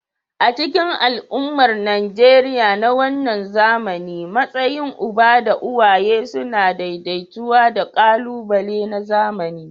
A cikin al'ummar Najeriya na wannan zamani, matsayin uba da uwaye suna daidaitawa da ƙalubale na zamani.